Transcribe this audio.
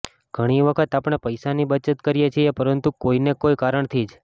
ઘણી વખત આપણે પૈસાની બચત કરીએ છીએ પરંતુ કોઈને કોઈ કારણથી જ